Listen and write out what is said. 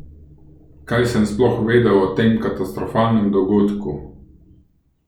Kaj sem sploh vedel o tem katastrofalnem dogodku?